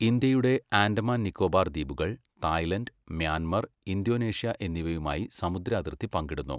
ഇന്ത്യയുടെ ആൻഡമാൻ നിക്കോബാർ ദ്വീപുകൾ Thailand, Myanmar, Indonesia എന്നിവയുമായി സമുദ്ര അതിർത്തി പങ്കിടുന്നു.